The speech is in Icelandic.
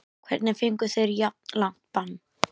Hvernig fengu þeir jafn langt bann?